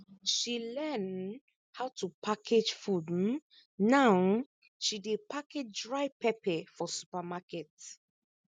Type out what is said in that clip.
she learn um how to package food um now um she dey package dry pepper for supermarket